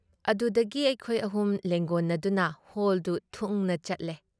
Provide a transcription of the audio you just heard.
ꯑꯗꯨꯗꯒꯤ ꯑꯩꯈꯣꯏ ꯑꯍꯨꯝ ꯂꯦꯡꯒꯣꯟꯅꯗꯨꯅ ꯍꯣꯜꯗꯨ ꯊꯨꯡꯅ ꯆꯠꯂꯦ ꯫